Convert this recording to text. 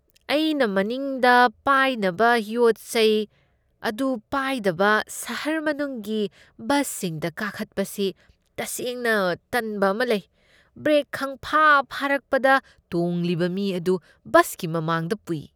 ꯑꯩꯅ ꯃꯅꯤꯡꯗ ꯄꯥꯏꯅꯕ ꯌꯣꯠ ꯆꯩ ꯑꯗꯨ ꯄꯥꯏꯗꯕ ꯁꯍꯔ ꯃꯅꯨꯡꯒꯤ ꯕꯁꯁꯤꯡꯗ ꯀꯥꯈꯠꯄꯁꯤ ꯇꯁꯦꯡꯅ ꯇꯟꯕ ꯑꯃ ꯂꯩ꯫ ꯕ꯭ꯔꯦꯛ ꯈꯪꯐꯥ ꯐꯥꯔꯛꯄꯗ ꯇꯣꯡꯂꯤꯕ ꯃꯤ ꯑꯗꯨ ꯕꯁꯀꯤ ꯃꯃꯥꯡꯗ ꯄꯨꯏ ꯫